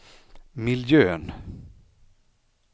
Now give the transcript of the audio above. miljön